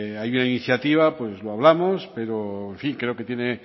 hay una iniciática pues lo hablamos pero en fin creo que tiene